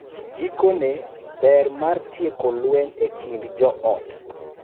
Gikone, ber mar tieko lweny e kind joot